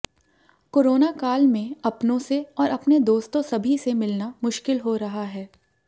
corona काल में अपनों से और अपने दोस्तों सभी से मिलना मुश्किल हो रहा है